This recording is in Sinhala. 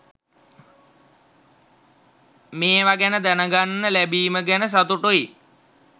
මේව ගැන දැනගන්න ලැබීම ගැන සතුටුයි